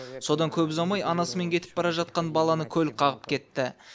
содан көп ұзамай анасымен кетіп бара жатқан баланы көлік қағып кетті